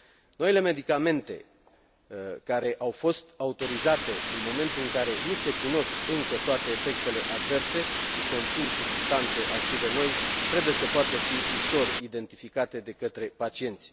Noile medicamente, care au fost autorizate în momentul în care nu se cunosc încă toate efectele adverse și conțin substanțe active noi, trebuie să poată fi ușor identificate de către pacienți.